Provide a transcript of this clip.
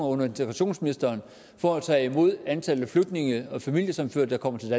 under integrationsministeren for at tage imod antallet af flygtninge og familiesammenførte der kommer til